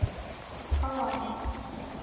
коллам